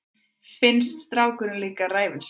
Finnst strákurinn líka ræfilslegur.